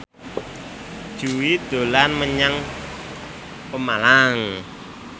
Jui dolan menyang Pemalang